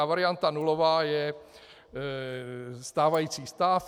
A varianta nulová je stávající stav.